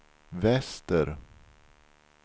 väster